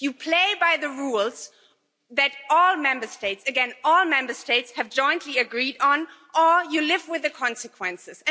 You play by the rules that all Member States again, all Member States have jointly agreed on, or you live with the consequences.